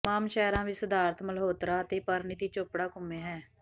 ਤਮਾਮ ਸ਼ਹਿਰਾਂ ਵਿਚ ਸਿਧਾਰਥ ਮਲਹੋਤਰਾ ਅਤੇ ਪਰਨੀਤੀ ਚੋਪੜਾ ਘੁੰਮੇ ਹੈ